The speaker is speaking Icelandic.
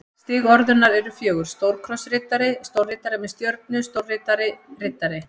Stig orðunnar eru fjögur: stórkrossriddari stórriddari með stjörnu stórriddari riddari